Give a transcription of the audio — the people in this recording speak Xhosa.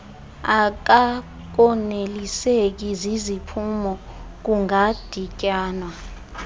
akakoneliseki ziziphumo kungadityanwa